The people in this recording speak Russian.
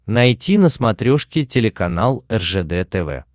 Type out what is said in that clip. найти на смотрешке телеканал ржд тв